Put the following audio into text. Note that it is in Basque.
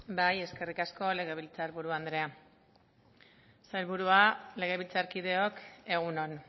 eskerrik asko legebiltzar buru andrea sailburua legebiltzarkideok egun on